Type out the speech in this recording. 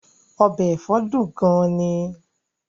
Ọbẹ̀ ẹ̀fọ́ dùn gan-an ni